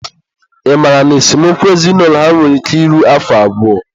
ị mara na esemokwu ezinaụlọ ha nwere ike iru afọ abụọ?